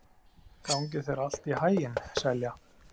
Gangi þér allt í haginn, Selja.